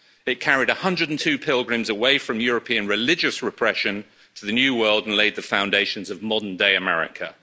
It carried 102 pilgrims away from European religious repression to the New World and laid the foundations of modern-day America.